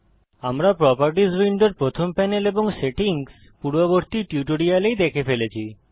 আমরা প্রোপার্টিস উইন্ডোর প্রথম প্যানেল এবং সেটিংস পূর্ববর্তী টিউটোরিয়ালেই দেখে ফেলেছি